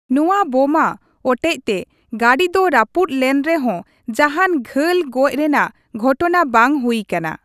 ᱱᱚᱣᱟ ᱵᱚᱢᱟ ᱚᱴᱮᱡ ᱛᱮ ᱜᱟᱹᱰᱤ ᱫᱚ ᱨᱟᱹᱯᱩᱫ ᱞᱮᱱ ᱨᱮᱦᱚᱸ ᱡᱟᱦᱟᱱ ᱜᱷᱟᱹᱞ ᱜᱚᱡ ᱨᱮᱱᱟᱜ ᱜᱷᱚᱴᱱᱟ ᱵᱟᱝ ᱦᱩᱭ ᱠᱟᱱᱟ ᱾